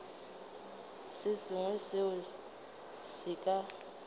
se sengwe seo se ka